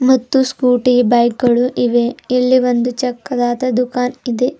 ಮತ್ತು Scooty bike ಗಳು ಇವೆ ಇಲ್ಲಿ ಒಂದು ಚಿಕ್ಕದಾದ ದುಕಾನ್ ಇದೆ.